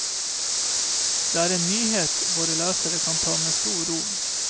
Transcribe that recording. Det er en nyhet våre lesere kan ta med stor ro.